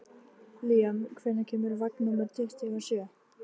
Líam, hvenær kemur vagn númer tuttugu og sjö?